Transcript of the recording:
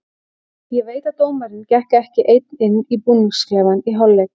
Ég veit að dómarinn gekk ekki einn inn í búningsklefann í hálfleik.